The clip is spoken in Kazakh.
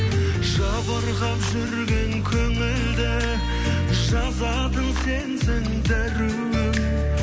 жабырқап жүрген көңілді жазатын сенсің дәруім